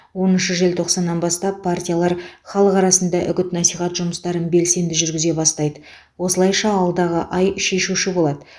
оныншы желтоқсаннан бастап партиялар халық арасында үгіт насихат жұмыстарын белсенді жүргізе бастайды осылайша алдағы ай шешуші болады